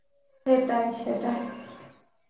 সেটাই সেটাই